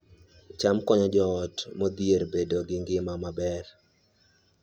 cham konyo joot modhier bedo gi ngima maber